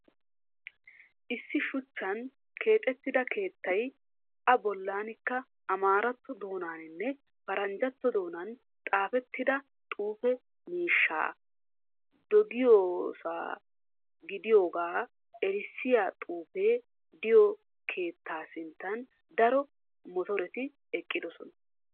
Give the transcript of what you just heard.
Issi shuchchan keexettida keettay A bollaanikka amaaratto doonaaninne paranjjatto doonan xaafettida xuufe mishshaa dagayiyosa gidiyoogaa erissiya xuufe de"iyoo keettaa sinttan daro motoreti eqqidosona.